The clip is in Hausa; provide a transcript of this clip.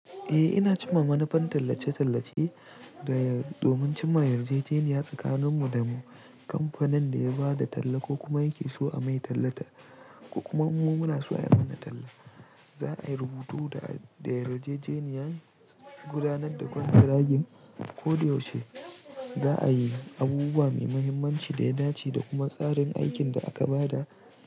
Eh ina cewa manufan tallace-tallace da domin cimma yarjejeniya tsakanin mu da mu kamfanin da ya ba da talla ko kuma yake so a mai tallata ko kuma mu muna so a yi mana talla. Za a rubuto da yarjejeniya gudanar da kwantiragin ko da yaushe. Za a yi abubuwa mai muhimmanci da ya dace da kuma tsarin aikin da aka ba da.